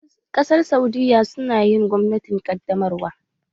Ƙasar saudiyya su na yin gwamnatin ƙaddamarwa